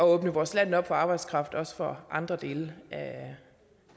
åbne vores land op for arbejdskraft også fra andre dele